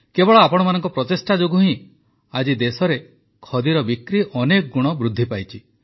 କେବଳ ଆପଣମାନଙ୍କ ପ୍ରଚେଷ୍ଟା ଯୋଗୁଁ ହିଁ ଆଜି ଦେଶରେ ଖଦୀର ବିକ୍ରି ଅନେକ ଗୁଣ ବୃଦ୍ଧି ପାଇଛି